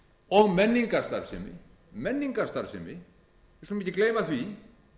og menningarstarfsemi menningarstarfsemi við skulum ekki gleyma því